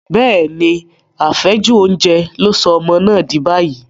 Bẹ́ẹ̀ni, àfẹ́jù oúnjẹ ló sọ ọmọ náà dì báyìí.